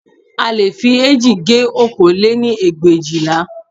A leè fi eéjì gé okòó lé-ní ẹgbẹ̀éjìlá